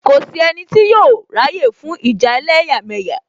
Kò sí ẹnì tí yóò ráyè fún ìjà ẹlẹ́yàmẹ̀yà